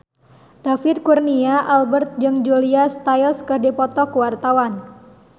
David Kurnia Albert jeung Julia Stiles keur dipoto ku wartawan